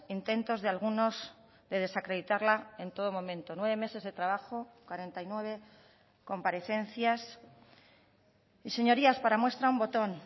intentos de algunos de desacreditarla en todo momento nueve meses de trabajo cuarenta y nueve comparecencias y señorías para muestra un botón